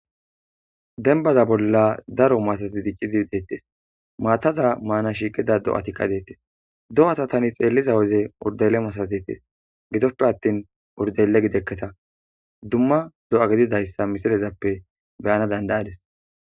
denbaza bolla daro masati diccidi deettis maataza maana shiiqida do7atikka deettis do7ata tani xeelliza woze urdele masatetis gidoppe attin urdele gidekketa dumma do7a gididayssa misirezappe beyana dandayadis